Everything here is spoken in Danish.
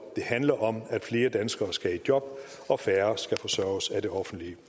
det handler om at flere danskere skal i job og færre skal forsørges af det offentlige